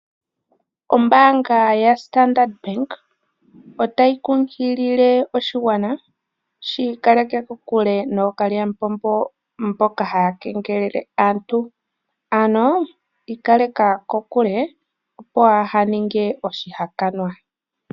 Ombaanga yaStandard Bank otayi kunkilile oshigwana shi ikaleke kokule nooKalyamupombo mboka haya kengelele aantu. Ano ikaleka kokule opo waa ninge oshihakanwa.